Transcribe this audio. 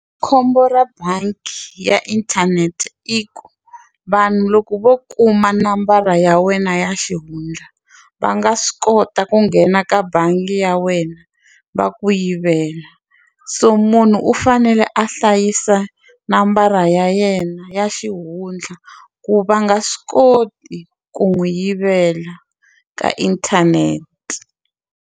Khombo ra bangi ya inthanete i ku vanhu loko vo kuma nambara ya wena ya xihundla va nga swi kota ku nghena ka bangi ya wena va ku yivela so munhu u fanele a hlayisa nambara ya yena ya xihundla ku va nga swi koti ku n'wi yivela ka inthanete.